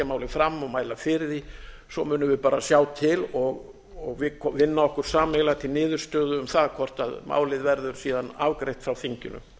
málið fram og mæla fyrir því svo munum við bara sjá til og vinna okkur sameiginlega til niðurstöðu um það hvort málið verður síðan afgreitt frá þinginu